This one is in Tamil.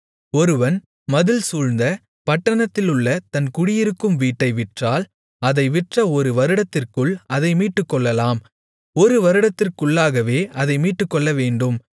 ஒருவன் மதில்சூழ்ந்த பட்டணத்திலுள்ள தன் குடியிருக்கும் வீட்டை விற்றால் அதை விற்ற ஒரு வருடத்திற்குள் அதை மீட்டுக்கொள்ளலாம் ஒரு வருடத்திற்குள்ளாகவே அதை மீட்டுக்கொள்ளவேண்டும்